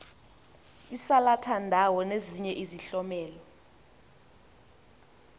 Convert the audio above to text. isalathandawo nezinye izihlomelo